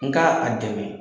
N ka a dɛmɛ.